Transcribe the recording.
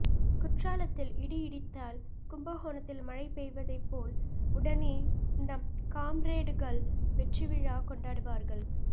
குற்றாலத்தில் இடி இடித்தால் கும்பகோணத்தில் மழைபெய்வதைப்போல் உடனே நம் காம்ரேடுகள் வெற்றிவிழா கொண்டாடுவார்கள்